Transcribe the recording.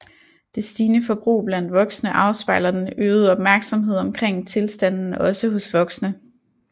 Det stigende forbrug blandt voksne afspejler den øgede opmærksomhed omkring tilstanden også hos voksne